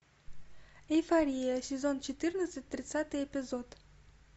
эйфория сезон четырнадцать тридцатый эпизод